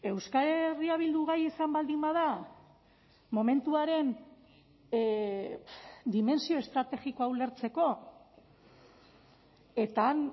euskal herria bildu gai izan baldin bada momentuaren dimentsio estrategikoa ulertzeko eta han